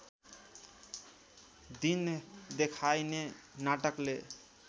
दिन देखाइने नाटकले